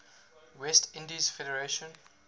west indies federation